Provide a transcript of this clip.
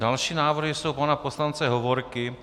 Další návrhy jsou pana poslance Hovorky.